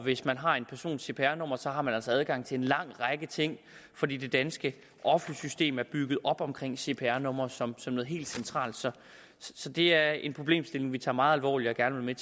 hvis man har en persons cpr nummer har man altså adgang til en lang række ting fordi det danske offentlige system er bygget op omkring cpr numre som noget helt centralt så så det er en problemstilling vi tager meget alvorligt og gerne vil